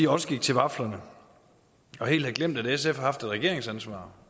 også gik til vaflerne og helt havde glemt at sf har haft et regeringsansvar